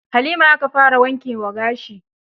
Halima aka fara wanke wa gashin.